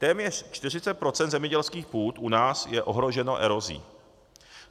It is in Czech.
Téměř 40 % zemědělských půd u nás je ohroženo erozí.